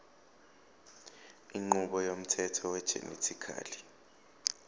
inqubo yomthetho wegenetically